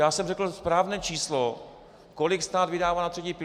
Já jsem řekl správné číslo, kolik stát vydává na třetí pilíř.